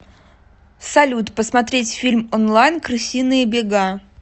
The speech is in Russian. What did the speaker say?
салют посмотреть фильм онлайн крысиные бега